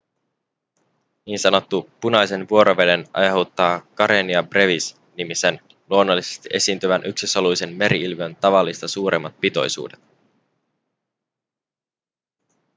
ns punaisen vuoroveden aiheuttaa karenia brevis nimisen luonnollisesti esiintyvän yksisoluisen merieliön tavallista suuremmat pitoisuudet